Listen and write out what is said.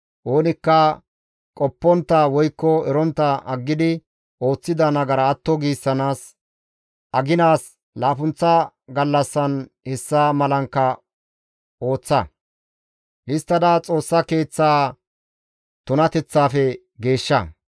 Oonikka qoppontta woykko erontta aggidi ooththida nagara atto giissanaas, aginaas laappunththa gallassan hessa malankka ooththa. Histtada Xoossa Keeththa tunateththafe geeshsha.